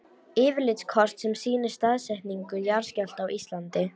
Yfirlitskort sem sýnir staðsetningu jarðskjálfta á Íslandi.